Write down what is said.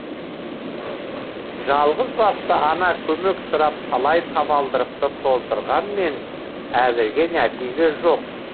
жалғызбасты ана көмек сұрап талай табалдырықты тоздырғанмен әзірге нәтиже жок